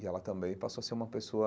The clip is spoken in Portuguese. E ela também passou a ser uma pessoa